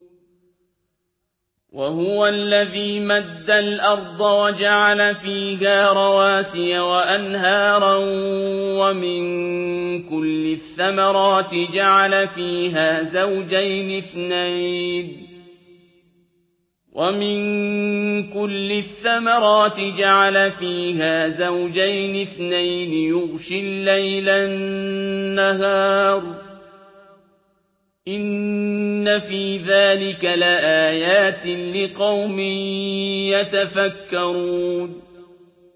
وَهُوَ الَّذِي مَدَّ الْأَرْضَ وَجَعَلَ فِيهَا رَوَاسِيَ وَأَنْهَارًا ۖ وَمِن كُلِّ الثَّمَرَاتِ جَعَلَ فِيهَا زَوْجَيْنِ اثْنَيْنِ ۖ يُغْشِي اللَّيْلَ النَّهَارَ ۚ إِنَّ فِي ذَٰلِكَ لَآيَاتٍ لِّقَوْمٍ يَتَفَكَّرُونَ